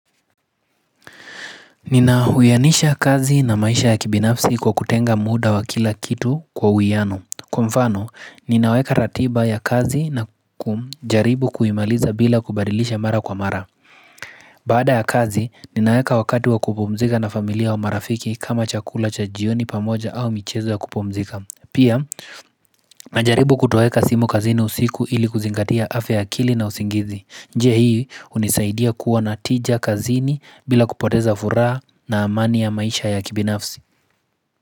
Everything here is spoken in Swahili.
Nina huyanisha kazi na maisha ya kibinafsi kwa kutenga muda wa kila kitu kwa huyiano. Kwa mfano, ninaweka ratiba ya kazi na kum jaribu kuimaliza bila kubadilisha mara kwa mara. Baada ya kazi, ninaweka wakati wa kupumzika na familia wa marafiki kama chakula cha jioni pamoja au michezo wa kupumzika. Pia, na jaribu kutoweka simu kazini usiku ili kuzingatia afya ya akili na usingizi. Njie hii unisaidia kuwa natija kazini bila kupoteza furaa na amani ya maisha ya kibinafsi.